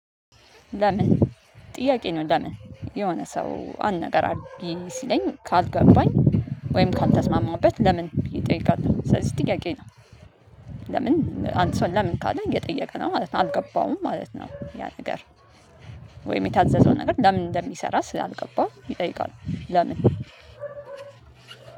ለምን ጥያቄ ነው ለምን የሆነ ሰው አንድ ነገር አድርጊ ሲለኝ ካልገባኝ ወይም ካልተስማማሁበት ለምን ብዬ እጠይቃለሁ። ስለዚህ ጥያቄ ነው። ለምን አንድ ሰው ለምን ካለ እየጠየቀ ነው ማለት ነው አልገባውም ማለት ነው። ያ ነገር ወይ የታዘዘው ነገር ለምን እንደሚሰራ ስላልገባው ይጠይቃል። ለምን